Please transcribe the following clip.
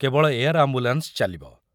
କେବଳ air ambulance ଚାଲିବ।